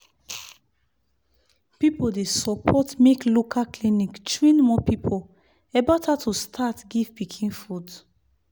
people dey support make local clinic train more people about how to start give pikin food.